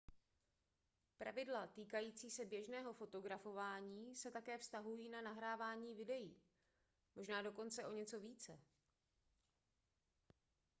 pravidla týkající se běžného fotografování se také vztahují na nahrávání videí možná dokonce o něco více